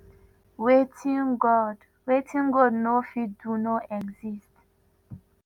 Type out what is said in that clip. “wetin god “wetin god no fit do no exist.